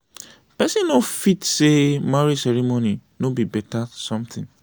pesin no fit say marriage ceremony no be be better something.